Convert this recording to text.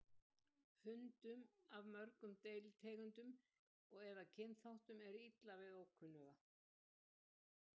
Hundum af mörgum deilitegundum eða kynþáttum er illa við ókunnuga.